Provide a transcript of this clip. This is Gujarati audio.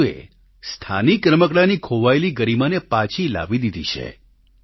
રાજૂએ સ્થાનિક રમકડાંની ખોવાયેલી ગરિમાને પાછી લાવી દીધી છે